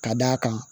Ka d'a kan